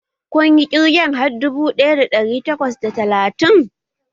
Kun yi ƙirgen har dubu ɗaya da ɗari takwas da talatin?